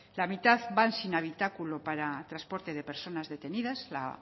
la mitad van sin habitáculo para transporte de personas detenidas la